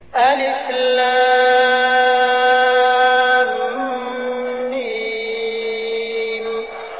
الم